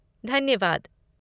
धन्यवाद।